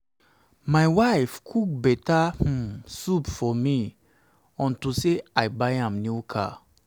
my wife cook beta um soup for me unto say i buy am new car